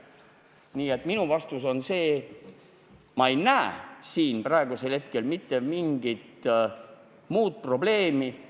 Nii et minu vastus on see, et ma ei näe siin praegu mitte mingit probleemi.